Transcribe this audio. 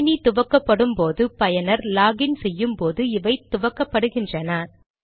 கணினி துவக்கப்படும் போது பயனர் லாக் இன் செய்யும் போது இவை துவக்கப்படுகின்றன